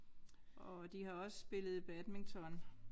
Og de har også spillet badminton